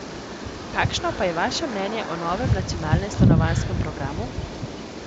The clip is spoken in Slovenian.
Kakšno pa je vaše mnenje o novem nacionalnem stanovanjskem programu?